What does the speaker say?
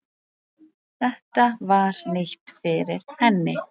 Þetta var nýtt fyrir henni.